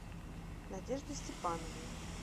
надежды степановой